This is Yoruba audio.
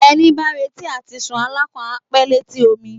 Ẹni bá ń retí àtisùn alákàn á pé létí omi